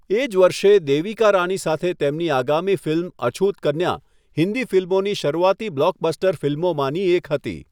એ જ વર્ષે, દેવિકા રાની સાથે તેમની આગામી ફિલ્મ અછૂત કન્યા, હિન્દી ફિલ્મોની શરૂઆતી બ્લોકબસ્ટર ફિલ્મોમાંની એક હતી.